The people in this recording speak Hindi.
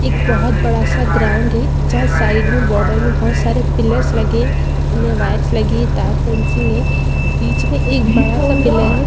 एक बहुत बड़ा सा ग्राउंड है जहाँ साइड में बॉडर में बहुत सारे पिलर लगे वायर लगी तार फिनिशिंग है बीच में एक बड़ा सा पिलर है।